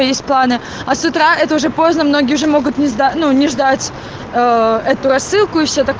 есть планы а с утра это уже поздно многие уже могут не сда не ждать эту рассылку и все так